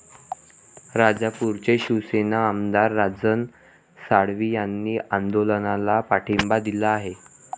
राजापूरचे शिवसेना आमदार राजन साळवी यांनी आंदोलनाला पाठिंबा दिला आहे.